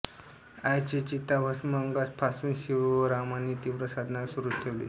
आईचे चिताभस्म अंगास फासून शिवरामांनी तीव्र साधना सुरूच ठेवली